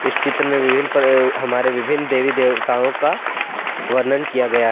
इस चित्र में विभिन्न पर हमारे विभिन्न देवी देवताओं का वर्णन किया गया है।